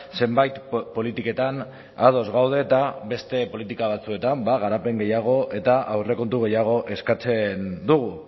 zenbait politiketan ados gaude eta beste politika batzuetan garapen gehiago eta aurrekontu gehiago eskatzen dugu